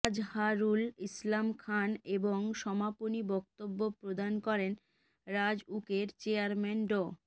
আজহারুল ইসলাম খান এবং সমাপনী বক্তব্য প্রদান করেন রাজউকের চেয়ারম্যান ড